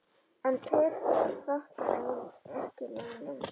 En Petra þakkar ekki neinum.